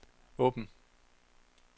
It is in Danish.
åbn